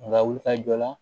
Nga wuli ka jɔ la